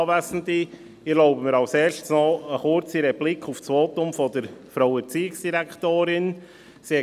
Ich erlaube mir als Erstes eine kurze Replik auf das Votum von Erziehungsdirektorin Häsler.